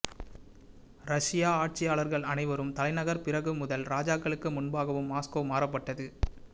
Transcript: Russia ஆட்சியாளர்கள் அனைவரும் தலைநகர் பிறகு முதல் ராஜாக்களுக்கு முன்பாகவும் மாஸ்கோ மாற்றப்பட்டது